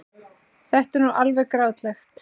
Þetta var alveg grátlegt.